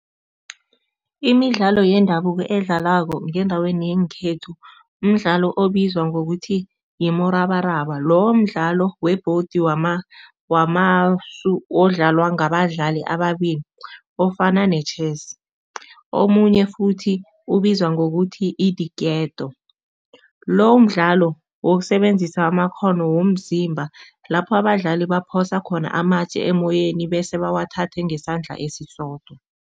Imidlalo yendabuko edlalwako ngendaweni yeenkhethu mdlalo obizwa ngokuthi, mrabaraba. Lo mdlalo webhodi odlalwa badlali ababili ofana ne-chess. Omunye futhi ubizwa ngokuthi, idiketo. Lo mdlalo wokusebenzisa amakghono womzimba lapho abadlali baphosa khona amatje emoyeni bese bawathathe ngesandla esisodwa.